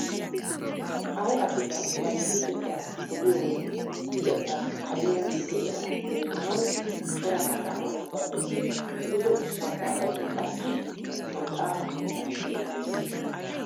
Ay asikka bari luxettaa poliyo wode luxettaappe kareera gujo eraa demmanawu cora maxaafaa nabbabbees. Gujo maxaafay qassi maxaafa keettan beettees.